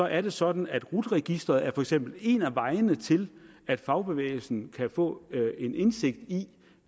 er det sådan at rut registeret for eksempel er en af vejene til at fagbevægelsen kan få en indsigt i